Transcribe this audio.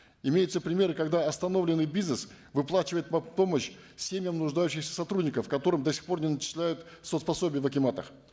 имеются примеры когда остановленный бизнес выплачивает мат помощь семьям нуждающихся сотрудников которым до сих пор не начисляют соц пособие в акиматах